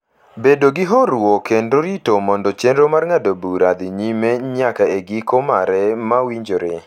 bedo gi horuok kendo rito mondo chenro mar ng’ado bura dhi nyime nyaka e giko mare ma winjore.